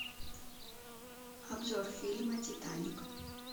обзор фильма титаник